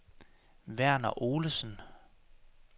Verner Olesen